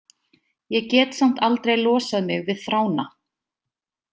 Ég get samt aldrei losað mig við þrána.